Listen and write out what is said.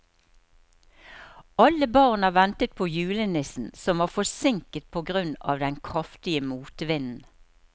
Alle barna ventet på julenissen, som var forsinket på grunn av den kraftige motvinden.